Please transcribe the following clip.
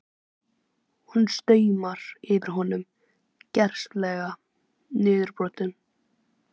Hún stumrar yfir honum, gersamlega niðurbrotin.